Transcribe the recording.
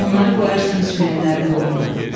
Onları qoyarsan içməyənlərin boynuna.”